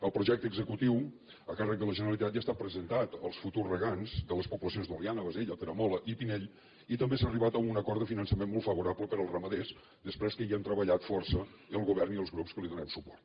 el projecte executiu a càrrec de la generalitat ja està presentat als futurs regants de les poblacions d’oliana bassella peramola i pinell i també s’ha arribat a un acord de finançament molt favorable per als ramaders després que hi hem treballat força el govern i els grups que li donem suport